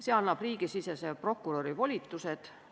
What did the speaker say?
See annab riigisisese prokuröri volitused.